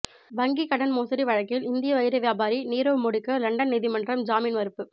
வங்கிக் கடன் மோசடி வழக்கில் இந்திய வைர வியாபாரி நீரவ் மோடிக்கு லண்டன் நீதிமன்றம் ஜாமீன் மறுப்பு